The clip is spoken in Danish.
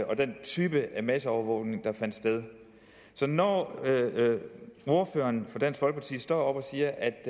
og den type masseovervågning der fandt sted så når ordføreren for dansk folkeparti står og siger at